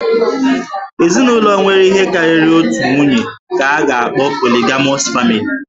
Ezinụlọ nwere ihe karịrị otu nwunye ka a ga-akpọ 'Polygamous family'